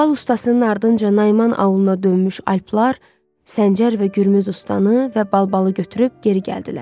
Balbal ustasının ardınca Naiman Avuluna dönmüş alplar Səncər və Gürmüz ustani və balbalı götürüb geri gəldilər.